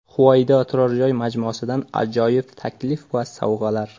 Huvaydo turar joy majmuasidan ajoyib taklif va sovg‘alar.